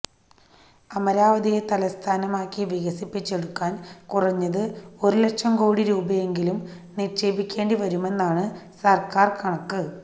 അമരാവതിയെ തലസ്ഥാനമാക്കി വികസിപ്പിച്ചെടുക്കാൻ കുറഞ്ഞത് ഒരുലക്ഷം കോടി രൂപയെങ്കിലും നിക്ഷേപിക്കേണ്ടി വരുമെന്നാണു സർക്കാർ കണക്ക്